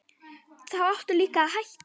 Þá áttu líka að hætta.